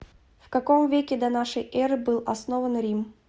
в каком веке до нашей эры был основан рим